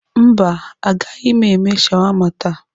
Mba agaghị m eme shawama taa.